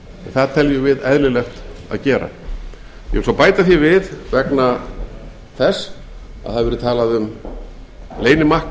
það teljum við eðlilegt að gera ég vil bæta því við vegna þess að talað hefur verið um leynimakk